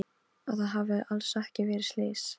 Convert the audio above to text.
Að það hafi alls ekki verið slys.